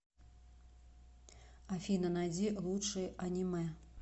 афина найди лучшие аниме